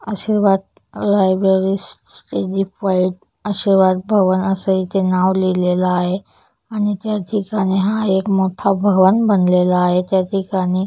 आशीर्वाद लायब्रेयरी आशीर्वाद भवन असे इथे नाव लिहलेले आहे आणि त्या ठिकाणी हा एक मोठा भवन बनलेला आहे त्या ठिकाणी --